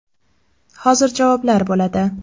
Hozir javoblar bo‘ladi.